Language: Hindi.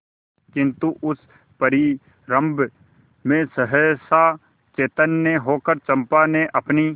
किंतु उस परिरंभ में सहसा चैतन्य होकर चंपा ने अपनी